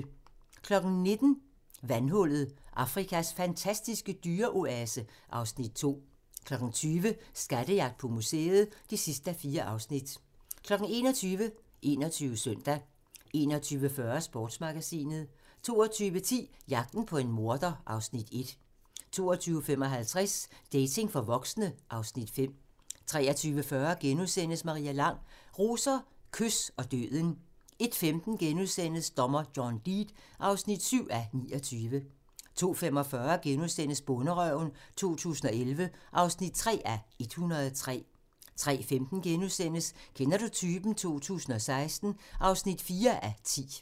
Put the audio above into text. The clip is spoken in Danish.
19:00: Vandhullet – Afrikas fantastiske dyreoase (Afs. 2) 20:00: Skattejagt på museet (4:4) 21:00: 21 Søndag 21:40: Sportsmagasinet 22:10: Jagten på en morder (Afs. 1) 22:55: Dating for voksne (Afs. 5) 23:40: Maria Lang: Roser, kys og døden * 01:15: Dommer John Deed (7:29)* 02:45: Bonderøven 2011 (3:103)* 03:15: Kender du typen? 2016 (4:10)*